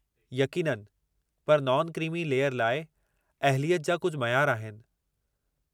यक़ीननि! पर non creamy layer लाइ अहलियत जा कुझु मयारु आहिनि।